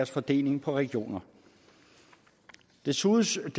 fordeling på regionerne desuden synes